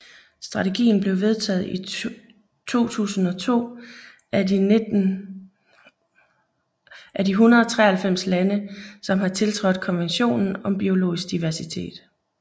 Strategien blev vedtaget i 2002 af de 193 lande som har tiltrådt Konventionen om biologisk diversitet